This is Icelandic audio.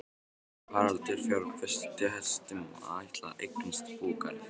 Haraldur fjárfesti í hestum og ætlaði að eignast búgarð.